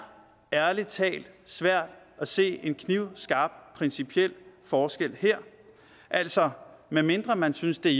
ærlig talt svært at se en knivskarp principiel forskel her altså medmindre man synes det